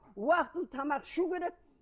уақытылы тамақ ішу керек